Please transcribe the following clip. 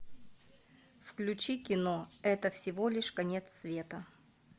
включи кино это всего лишь конец света